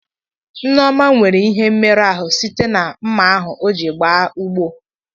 Nneọma nwere ihe mmerụ ahụ site na mma ahụ o ji gaa ugbo.